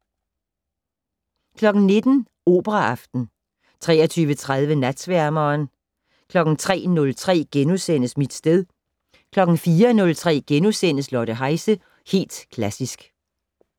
19:00: Operaaften 23:30: Natsværmeren 03:03: Mit sted * 04:03: Lotte Heise - Helt Klassisk *